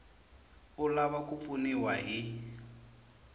u lava ku pfuniwa hi